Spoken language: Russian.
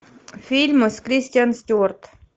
фильмы с кристиан стюарт